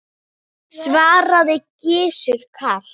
svaraði Gizur kalt.